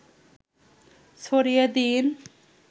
ছড়িয়ে দিন